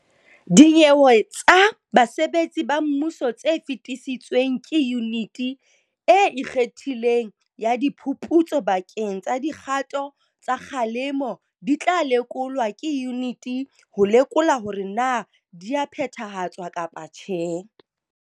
Dinyewe tsa basebetsi ba mmuso tse fetisitsweng ke Yuniti e Ikgethileng ya Di phuputso bakeng sa dikgato tsa kgalemo di tla lekolwa ke yuniti ho lekola hore na di a phethahatswa kapa tjhe.